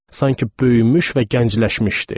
Sanki böyümüş və gəncləşmişdi.